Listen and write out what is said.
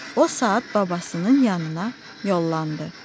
O saat babasının yanına yollandı.